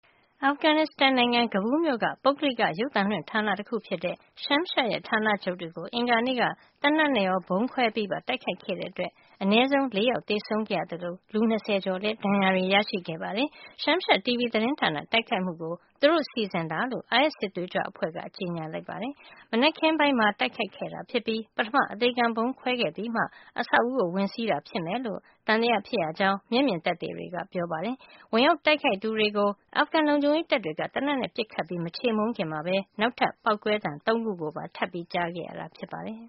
အာဖဂန်နစ္စတန် နိုင်ငံ Kabul မြို့က ပုဂ္ဂလိက ရုပ်သံလွှင့် ဌာန တခုဖြစ်တဲ့ Shamshad ဌာနချုပ်တွေကို အင်္ဂါနေ့က သေနတ်နဲ့ရော ဗုံးခွဲပြီးပါ တိုက်ခိုက်ခဲ့တဲ့အတွက် အနည်းဆုံး ၄ ယောက် သေဆုံးခဲ့ရ သလို လူ ၂၀ ကျော် ဒဏ်ရာရခဲ့ပါတယ်။ Shamshad TV သတင်းဌာန တိုက်ခိုက်မှုကို သူတို့ စီစဉ်တာလို့ အိုင်အက်စ် စစ်သွေးကြွအဖွဲ့က ကြေညာပါတယ်။ မနက်ခင်းပိုင်းမှာ တိုက်ခိုက်ခဲ့တာ ဖြစ်ပြီး ပထမ အသေခံဗုံး ခွဲခဲ့ပြီးမှ အဆောက်အဦးကို ဝင်စီးတာ ဖြစ်မယ်လို့ သံသယဖြစ်ရကြောင်း မျက်မြင် သက်သေတွေက ပြောပါတယ်။ ဝင်ရောက်တိုက်ခိုက်သူတွေကို အာဖဂန် လုံခြုံရေးတပ်တွေက သေနတ်နဲ့ ပစ်ခတ်ပြီး မချေမှုန်းခင်မှာဘဲ နောက်ထပ် ပေါက်ကွဲသံ ၃ ခု ကိုပါ ထပ်ကြားခဲ့ရတာ ဖြစ်ပါတယ်။